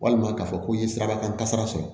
Walima k'a fɔ ko i ye sirabakan kasara sɔrɔ